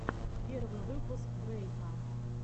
первый выпуск дрейка